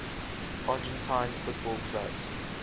argentine football clubs